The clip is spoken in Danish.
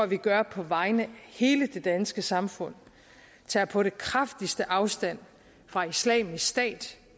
vi gør på vegne af hele det danske samfund tager på det kraftigste afstand fra islamisk stat